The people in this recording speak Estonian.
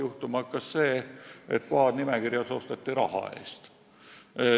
Juhtuma hakkas see, et kohad nimekirjas osteti raha eest.